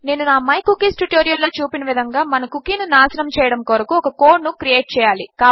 నేను నా my cookies tutorial లో చూపిన విధముగా మన కుకీ ను నాశనము చేయడము కొరకు ఒక కోడ్ ను క్రియేట్ చేయాలి